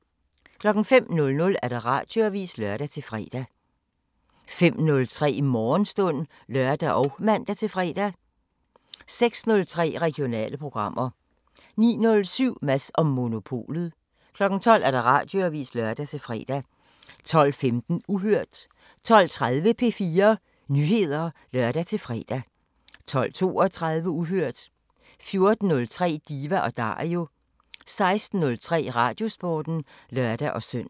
05:00: Radioavisen (lør-fre) 05:03: Morgenstund (lør og man-fre) 06:03: Regionale programmer 09:07: Mads & Monopolet 12:00: Radioavisen (lør-fre) 12:15: Uhørt 12:30: P4 Nyheder (lør-fre) 12:32: Uhørt 14:03: Diva & Dario 16:03: Radiosporten (lør-søn)